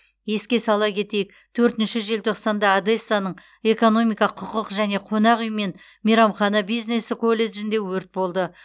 еске сала кетейік төртінші желтоқсанда одессаның экономика құқық және қонақ үй мен мейрамхана бизнесі колледжінде өрт болды